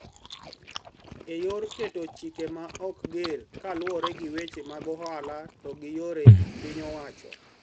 E yor keto chike maok ger kaluwore gi weche mag ohala to gi yore piny owacho